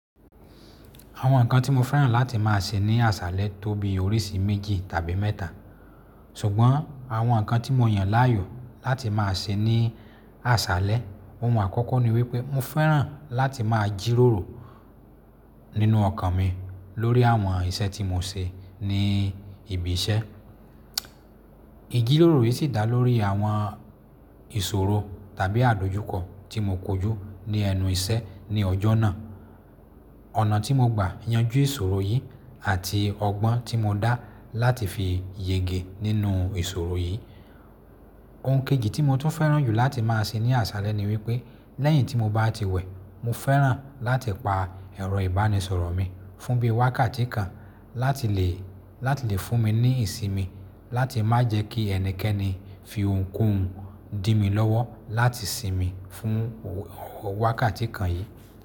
Àwọn nǹkan tí mo fẹ́ràn láti má a ṣe ní àṣálẹ tó bí oríṣi méjì tàbí mẹ́ta, ṣùgbọ́n àwọn nǹkan tí mo yàn láàyò láti má a ṣe ní àṣálẹ ohun àkọ́kọ́ ni wípé mo fẹ́ràn láti má a jíròrò nínú ọkàn mi lórí àwọn iṣẹ́ tí mo ṣe ní ibi iṣẹ́. Ijírórò yìí sì dá lórí àwọn ìṣòro tàbí àdójùkọ tí mo kojú ní ẹnu iṣẹ́ ní ọjọ́ náà, ọ̀nà tí mo gbà yanjú ìṣòro yìí àti ọgbọ́n tí mo dá láti fi yege nínú ìṣòro yìí. Ohun kejì tí mo tún fẹ́ràn jù láti má a ṣe ní àṣálẹ ni wípé lẹ́yìn tí mo bá ti wẹ̀, mo fẹ́ràn láti pa ẹ̀rọ ìbánisọ̀rọ̀ mi fún bí i wákàtí kan láti lè, láti lè fún mi ní ìsinmi láti má jẹ́ kí ẹnikẹ́ni fi ohunkóhun dí mi lọ́wọ́ láti sinmi fún wákàtí kan yìí.